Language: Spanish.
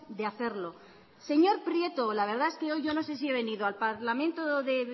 de hacerlo señor prieto la verdad es que hoy yo no sé si he venido al parlamento de